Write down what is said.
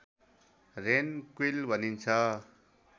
rain quail भनिन्छ